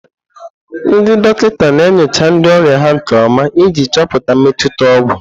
Ndị dọkịta na-enyocha ndị ọrịa ha nke ọma iji chọpụta mmetụta ọgwụ.